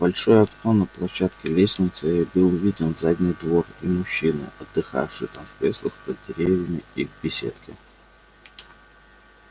в большое окно на площадке лестницы ей был виден задний двор и мужчины отдыхавшие там в креслах под деревьями и в беседке